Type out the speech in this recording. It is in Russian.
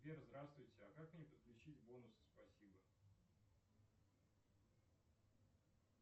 сбер здравствуйте а как мне подключить бонусы спасибо